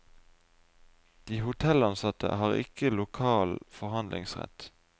De hotellansatte har ikke lokal forhandlingsrett.